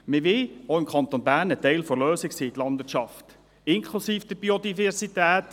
Wir wollen die Landwirtschaft, inklusive der Biodiversität.